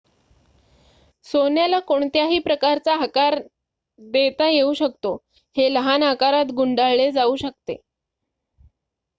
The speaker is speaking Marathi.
सोन्याला कोणत्याही प्रकारचा आकार देता येऊ शकतो हे लहान आकारात गुंडाळले जाऊ शकते